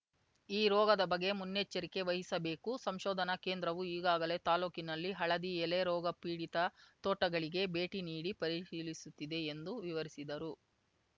ಈ ರೋಗದ ಬಗ್ಗೆ ಮುನ್ನೆಚ್ಚೆರಿಕೆ ವಹಿಸಬೇಕು ಸಂಶೋಧನಾ ಕೇಂದ್ರವು ಈಗಾಗಲೇ ತಾಲೂಕಿನಲ್ಲಿ ಹಳದಿ ಎಲೆ ರೋಗಪೀಡಿತ ತೋಟಗಳಿಗೆ ಭೇಟಿ ನೀಡಿ ಪರಿಶೀಲಿಸುತ್ತಿದೆ ಎಂದು ವಿವರಿಸಿದರು